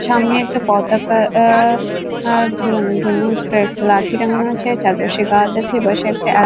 সামনে একটা পতাকা আ আর ঝুলানোর জন্য উপরে একটা লাঠি টাঙ্গানো আছে চারপাশে গাছ আছে এপাশে একটা অ্যা--